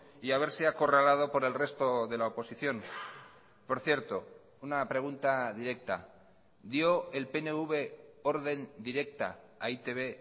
y a verse acorralado por el resto de la oposición por cierto una pregunta directa dio el pnv orden directa a e i te be